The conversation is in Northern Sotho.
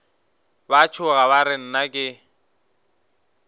ba tšhoga ba re nnake